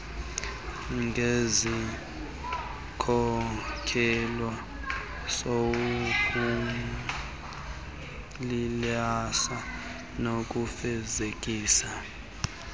ngesikhokelo sokuphuhlisa nokufezekisa